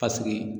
Paseke